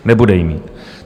Nebude ji mít.